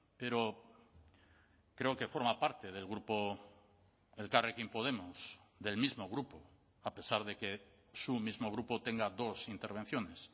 pero creo que forma parte del grupo elkarrekin podemos del mismo grupo a pesar de que su mismo grupo tenga dos intervenciones